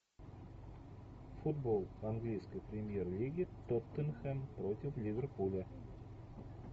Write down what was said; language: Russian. футбол английской премьер лиги тоттенхэм против ливерпуля